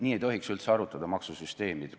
Nii ei tohiks üldse arutada maksusüsteemi puhul.